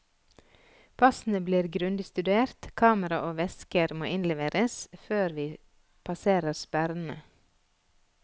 Passene blir grundig studert, kamera og vesker måinnleveres før vi passerer sperrene.